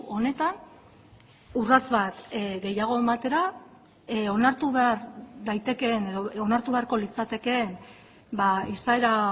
honetan urrats bat gehiago ematera onartu behar daitekeen edo onartu beharko litzatekeen izaera